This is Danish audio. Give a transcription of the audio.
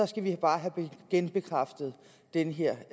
skal vi bare have genbekræftet den her